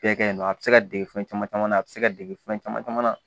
Bɛɛ kɛɲɛnen don a bɛ se ka dege fɛn caman caman na a bɛ se ka dege fɛn caman caman na